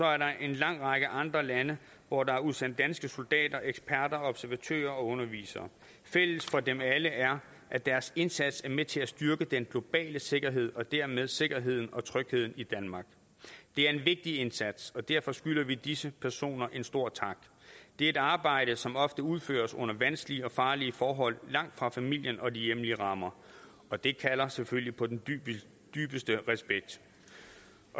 er der en lang række andre lande hvor der er udsendt danske soldater eksperter observatører og undervisere fælles for dem alle er at deres indsats er med til at styrke den globale sikkerhed og dermed sikkerheden og trygheden i danmark det er en vigtig indsats og derfor skylder vi disse personer en stor tak det er et arbejde som ofte udføres under vanskelige og farlige forhold langt fra familien og de hjemlige rammer og det kalder selvfølgelig på den dybeste respekt